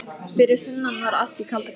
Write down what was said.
Fyrir sunnan var allt í kalda koli.